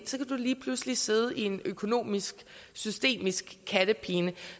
lige pludselig sidde i en økonomisk systemisk kattepine